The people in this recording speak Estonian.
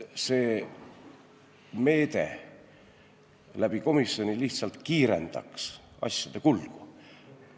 See meede, et see toimuks komisjoni kaudu, lihtsalt kiirendaks asjade kulgu.